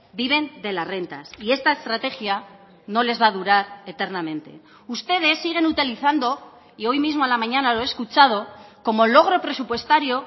viven de las rentas y esta estrategia no les va a durar eternamente ustedes siguen utilizando y hoy mismo a la mañana lo he escuchado como logro presupuestario